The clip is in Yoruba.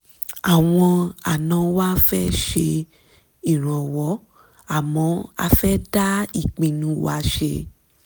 àwọn àna wa ń fẹ́ ṣèrànwọ́ àmọ́ a fẹ́ dá ìpinnu wa ṣe